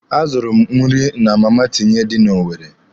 A zụrụ m nri na Mama Tinye dị na Owere.